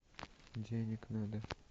денег надо